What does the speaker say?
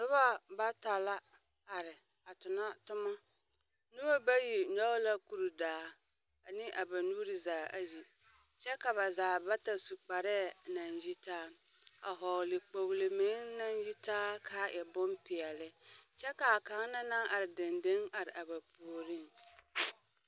Noba bata la are a tona toma. Nobɔ bayi nyɔge la kurdaa ane a ba nuuri zaa ayi, kyɛ ka ba zaa bata su kparɛɛ naŋ yitaa a hɔɔle kpogele meŋ naŋ yitaa k'a e bompeɛle. Kyɛ k'a kaŋ na naŋ ar dendeŋ ar a ba puoriŋ.